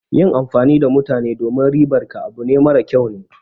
Yin amfani da mutane domin ribar ka abu mara kyau ne.